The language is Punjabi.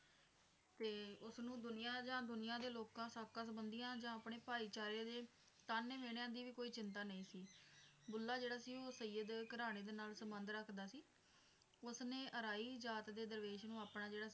ਤੇ ਉਸਨੂੰ ਦੁਨੀਆ ਜਾ ਦੁਨੀਆ ਦੇ ਲੋਕਾਂ ਸਾਕਾ ਸੰਬੰਧੀਆਂ ਜਾਂ ਆਪਣੇ ਭਾਈਚਾਰੇ ਦੇ ਤਾਹਨੇ ਮਿਹਣਿਆਂ ਦੀ ਕੋਈ ਚਿੰਤਾ ਨਹੀਂ ਸੀ ਬੁੱਲ੍ਹਾ ਜਿਹੜਾ ਸੀ ਉਹ ਸਯੀਅਦ ਘਰਾਣੇ ਦੇ ਨਾਲ ਸੰਬੰਧ ਰੱਖਦਾ ਸੀ ਉਸਨੇ ਇਰਾਇ ਜਾਤ ਦੇ ਦਰਵੇਸ਼ ਨੂੰ ਆਪਣਾ ਜਿਹੜਾ